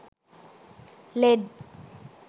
led